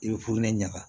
I bɛ ɲaga